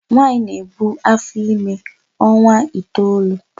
Nwaanyị na-ebu áfọ́ime ọnwa itoolu.